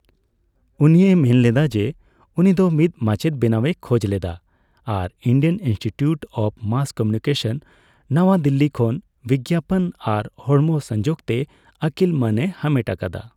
ᱩᱱᱤᱭ ᱢᱮᱱ ᱞᱮᱫᱟ ᱡᱮᱹ ᱩᱱᱤ ᱫᱚ ᱢᱤᱫ ᱢᱟᱪᱮᱫ ᱵᱮᱱᱟᱜᱼᱮ ᱠᱷᱚᱡᱽ ᱞᱮᱫᱟ ᱟᱨ Indian institute of mass communication, ᱱᱚᱣᱟ ᱫᱤᱞᱞᱤ ᱠᱷᱚᱱ ᱵᱤᱜᱽᱜᱟᱯᱚᱱ ᱟᱨ ᱦᱚᱲᱢᱚ ᱥᱚᱝᱡᱳᱜᱽ ᱛᱮ ᱟᱹᱠᱤᱞ ᱢᱟᱹᱱ ᱮ ᱦᱟᱢᱮᱴ ᱟᱠᱟᱫᱟ ᱾